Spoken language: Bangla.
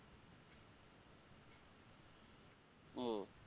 হম